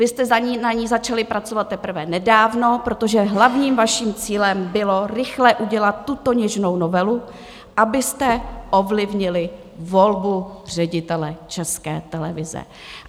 Vy jste na ní začali pracovat teprve nedávno, protože hlavním vaším cílem bylo rychle udělat tuto něžnou novelu, abyste ovlivnili volbu ředitele České televize.